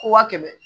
Ko waa kɛmɛ